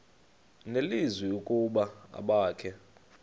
nelizwi ukuba abakhe